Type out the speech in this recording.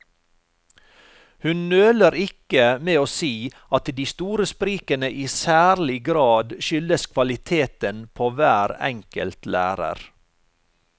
Hun nøler ikke med å si at de store sprikene i særlig grad skyldes kvaliteten på hver enkelt lærer.